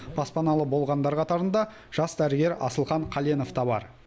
баспаналы болғандар қатарында жас дәрігер асылхан қаленов та бар